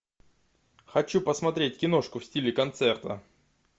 хочу посмотреть киношку в стиле концерта